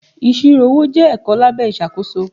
Ìṣirò owó jẹ́ ẹ̀kọ́ lábẹ́ ìṣàkóso.